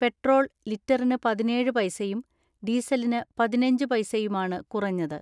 Petrol ലിറ്ററിന് പതിനേഴ് പൈസയും ഡീസലിന് പതിനഞ്ച് പൈസയുമാണ് കുറഞ്ഞത്.